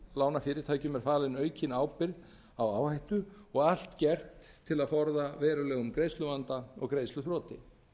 lánafyrirtækjum er falin aukin ábyrgð á áhættu og allt gert til að forða verulegum greiðsluvanda og greiðsluþroti